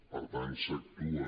per tant s’actua